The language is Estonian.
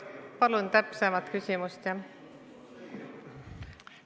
Palun täpsemat küsimust!